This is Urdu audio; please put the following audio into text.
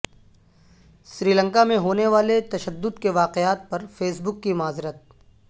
سری لنکا میں ہونے والے تشدد کے واقعات پر فیس بک کی معذرت